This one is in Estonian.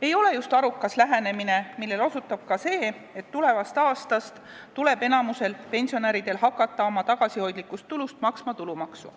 Ei ole just arukas lähenemine, millele osutab ka see, et tulevast aastast tuleb enamikul pensionäridel hakata oma tagasihoidlikust tulust maksma tulumaksu.